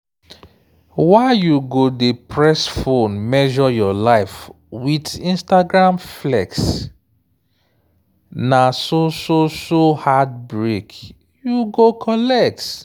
why you go dey press phone measure your life with instagram flex? na so so so heartbreak you go collect.